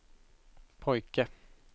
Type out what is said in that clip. pojke